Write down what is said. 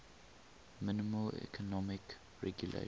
minimal economic regulations